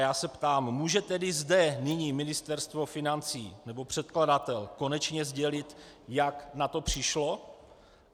Já se ptám: může tedy zde nyní Ministerstvo financí nebo předkladatel konečně sdělit, jak na to přišlo?